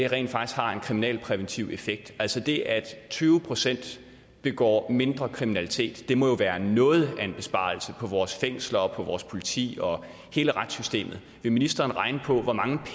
rent faktisk har en kriminalpræventiv effekt altså det at tyve procent begår mindre kriminalitet må jo være noget af en besparelse for vores fængsler for vores politi og hele retssystemet vil ministeren regne på hvor mange